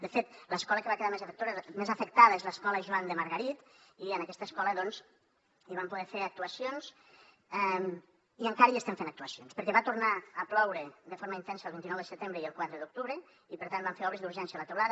de fet l’escola que va quedar més afectada és l’escola joan de margarit i en aquesta escola doncs hi vam poder fer actuacions i encara hi estem fent actuacions perquè va tornar a ploure de forma intensa el vint nou de setembre i el quatre d’octubre i per tant vam fer obres d’urgència a la teulada